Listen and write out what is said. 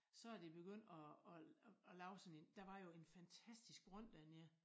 Så de begyndt at at lave sådan en der var jo en fantastisk brønd dernede